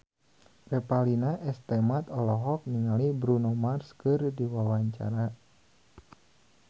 Revalina S. Temat olohok ningali Bruno Mars keur diwawancara